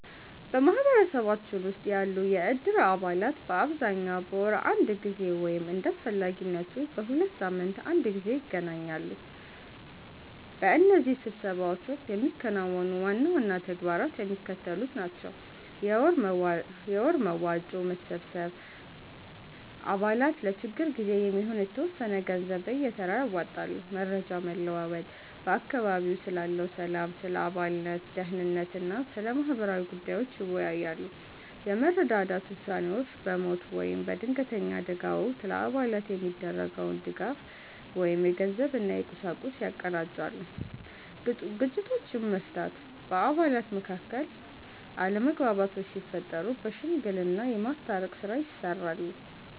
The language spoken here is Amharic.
በማኅበረሰባችን ውስጥ ያሉ የእድር አባላት በአብዛኛው በወር አንድ ጊዜ ወይም እንደ አስፈላጊነቱ በሁለት ሳምንት አንድ ጊዜ ይገናኛሉ። በእነዚህ ስብሰባዎች ወቅት የሚከናወኑ ዋና ዋና ተግባራት የሚከተሉት ናቸው፦ የወር መዋጮ መሰብሰብ፦ አባላት ለችግር ጊዜ የሚሆን የተወሰነ ገንዘብ በየተራ ያዋጣሉ። መረጃ መለዋወጥ፦ በአካባቢው ስላለው ሰላም፣ ስለ አባላት ደኅንነት እና ስለ ማህበራዊ ጉዳዮች ይወያያሉ። የመረዳዳት ውሳኔዎች፦ በሞት ወይም በድንገተኛ አደጋ ወቅት ለአባላት የሚደረገውን ድጋፍ (የገንዘብ እና የቁሳቁስ) ያቀናጃሉ። ግጭቶችን መፍታት፦ በአባላት መካከል አለመግባባቶች ሲፈጠሩ በሽምግልና የማስታረቅ ሥራ ይሠራሉ።